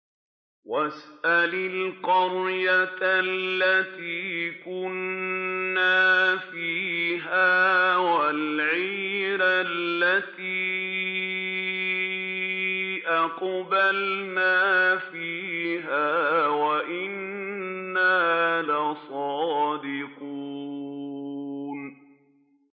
وَاسْأَلِ الْقَرْيَةَ الَّتِي كُنَّا فِيهَا وَالْعِيرَ الَّتِي أَقْبَلْنَا فِيهَا ۖ وَإِنَّا لَصَادِقُونَ